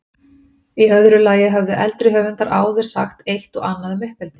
Í öðru lagi höfðu eldri höfundar áður sagt eitt og annað um uppeldi.